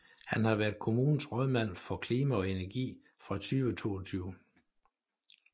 Han har været kommunens rådmand for Klima og Energi fra 2022